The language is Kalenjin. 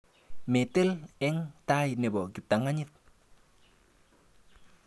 Metel eng tai nebo kiptang'anyit.